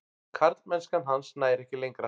Karlmennska hans nær ekki lengra.